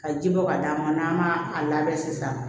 Ka ji bɔ ka d'a ma n'an m'a a labɛn sisan